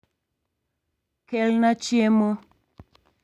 Kelna chiemo